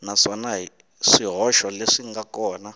naswona swihoxo leswi nga kona